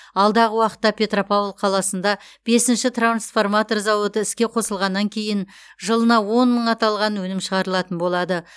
алдағы уақытта петропавл қаласында бесінші трансформатор зауыты іске қосылғаннан кейін жылына он мың аталған өнім шығарылатын болады